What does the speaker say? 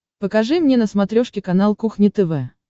покажи мне на смотрешке канал кухня тв